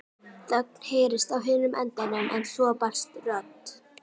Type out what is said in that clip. Þögn heyrðist á hinum endanum en svo barst rödd